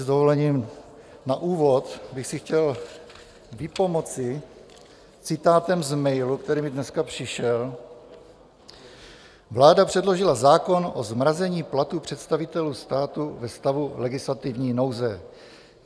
S dovolením, na úvod bych si chtěl vypomoci citátem z mailu, který mi dneska přišel: "Vláda předložila zákon o zmrazení platů představitelů státu ve stavu legislativní nouze.